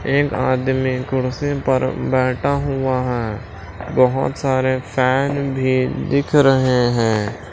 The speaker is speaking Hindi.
एक आदमी कुर्सी पर बैठा हुआ है बहुत सारे फैन भी दिख रहे हैं।